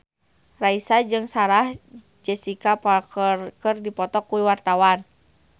Raisa jeung Sarah Jessica Parker keur dipoto ku wartawan